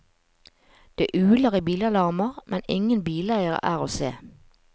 Det uler i bilalarmer, men ingen bileiere er å se.